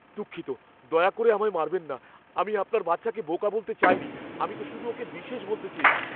দুঃখিত, দয়া করে আমায় মারবেন না। আমি আপনার বাচ্চাকে বোকা বলতে চাইনি। আমি তো শুধু ওকে বিশেষ বলতে চেয়েছি।